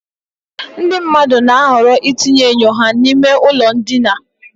Ndị mmadụ na-ahọrọ itinye enyo ha n'ime ụlọ ndina